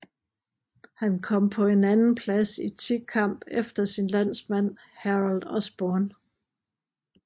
Han kom på en andenplads i tikamp efter sin landsmand Harold Osborn